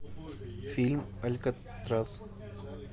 фильм алькатрас